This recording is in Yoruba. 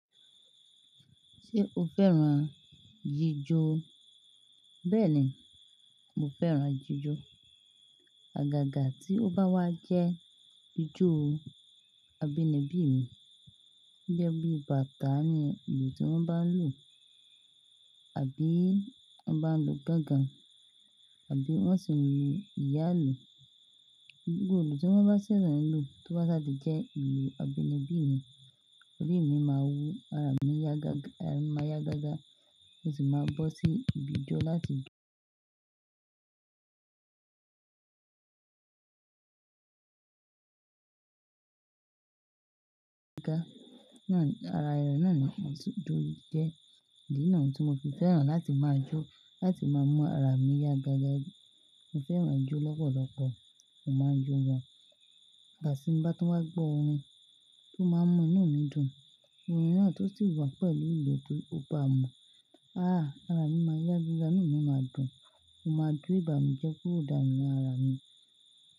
Ṣé o fẹ́ran jíjọ? Bẹ́ẹ̀ni, mo fẹ́ran jíjọ. Àgàgà tí ó bá wá jẹ́ ijó abínibí mi, ó jẹ́ bí bàtá ni ìlù tí wọ́n bá ń lò, àbí wọ́n bá ń lò gángan, àbí wọ́n sì ń lo ìyálù. Gbogbo ìlù tí wọ́n bá ṣẹ̀sẹ̀ ń lò tó bá ṣàdé jẹ́ ìlù abínibí mi, orí mi máa wú, ara mi ya ga-- máa ya gágá, mo sì máa bọ́ sí ibi ijó láti jó. Ara ẹran náà ni mo ti jó jẹ́, ni náà ni tí mo fi fẹ́ran láti máa jó, láti máa mú ara mi yá gágá. Mo fẹ́ran ijó lọ́pọ̀lọpọ̀, mo máa ń jó wọn. Àgàsí tí n bá tún gbọ́rin tó máa ń mú inú mi dùn, orin náà tó sì wá pẹ̀lú ìlù tó bá mú, ah ara mi máa yá gíga, inú mi máa dùn, mo máa jó ìbànújẹ́ kúrò dáńnú lára mi.